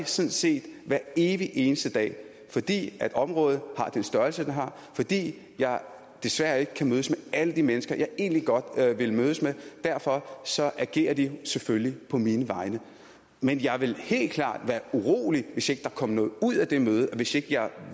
sådan set hver evig eneste dag fordi området har den størrelse det har fordi jeg desværre ikke kan mødes med alle de mennesker som jeg egentlig godt ville mødes med derfor agerer de selvfølgelig på mine vegne men jeg ville helt klart være urolig hvis der ikke kom noget ud af det møde og hvis jeg